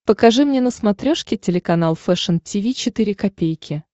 покажи мне на смотрешке телеканал фэшн ти ви четыре ка